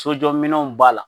Sojɔminɛnw b'a la